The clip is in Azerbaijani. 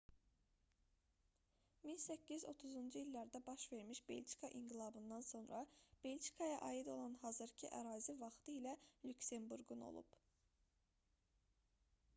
1830-cu illərdə baş vermiş belçika i̇nqilabından sonra belçikaya aid olan hazırkı ərazi vaxtilə lüksemburqun olub